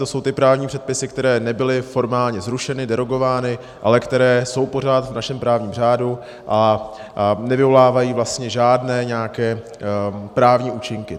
To jsou ty právní předpisy, které nebyly formálně zrušeny, derogovány, ale které jsou pořád v našem právním řádu a nevyvolávají vlastně žádné nějaké právní účinky.